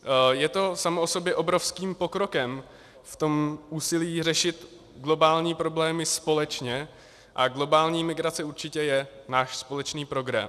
Je to samo o sobě obrovským pokrokem v tom úsilí řešit globální problémy společně a globální migrace určitě je náš společný problém.